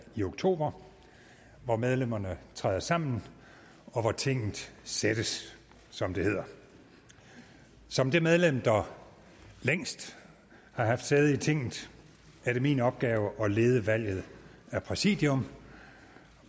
i oktober hvor medlemmerne træder sammen og hvor tinget sættes som det hedder som det medlem der længst har haft sæde i tinget er det min opgave at lede valget af præsidium